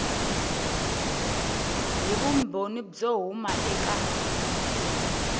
hi vumbhoni byo huma eka